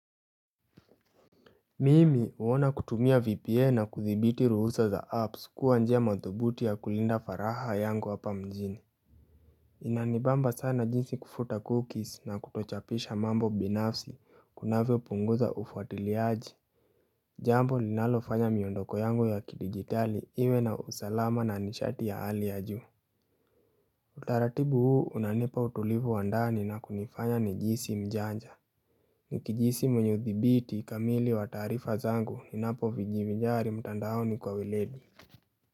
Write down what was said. Mimi uona kutumia VPN na kuthibiti ruhusa za apps kuwa njia mathubuti ya kulinda faraha yangu hapa mjini Inanibamba sana jinsi kufuta cookies na kutochapisha mambo binafsi kunavyo punguza ufuatiliaji Jambo linalofanya miondoko yangu ya kidigitali iwe na usalama na nishati ya hali ya juu Utaratibu huu unanipa utulivu wa ndani na kunifanya ni jihisi mjanja Ukijihisi mwenye uthibiti kamili wa taarifa zangu ninapojivinjari mtandaoni kwa weledi.